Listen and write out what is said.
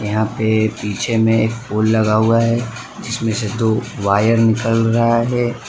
यहां पे पीछे में एक पोल लगा हुआ है जिसमें से दो वायर निकल रा है।